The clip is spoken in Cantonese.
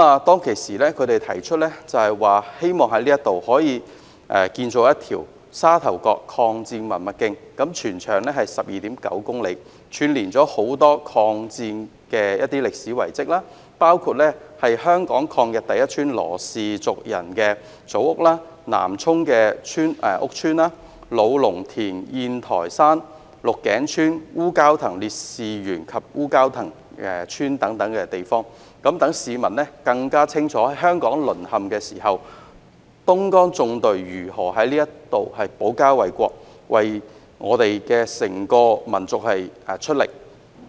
當時他們提出希望可以在這裏建造一條"沙頭角抗戰文物徑"，全長 12.9 公里，串連許多與抗戰相關的歷史遺址，包括香港抗日第一家羅氏族人的祖屋、南涌羅屋村、老龍田宴臺山、鹿頸村、烏蛟騰烈士紀念園及烏蛟騰村等，讓市民更清楚在香港淪陷期間，東江縱隊如何在這裏保家衞國，為整個民族出力。